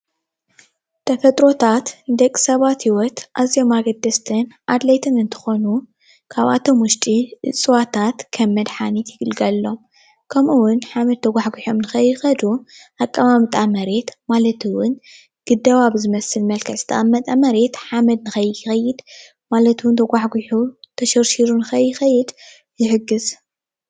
ተፈጥሮታት ንደቂ ሰባት ሂወት ኣዚዮም ኣገደስትን ኣድለይትን እንትኾኑ ካብኣቶም ዉሽጢ እፅዋታት ከም መድሓኒት ይግልገልሎም፣ ከምኡእዉን ሓመድ ተጓሕጉሖም ከይኸዱ ኣቀማምጣ መሬት ማለት እዉን ግደባ ብዝመስል መልክዕ ዝተቀመጠ መሬት ሓመድ ንከይኸይድ ማለት እውን ተጓሕጉሑ ተሸርሺሩ ንከይኸይድ ይሕግዝ።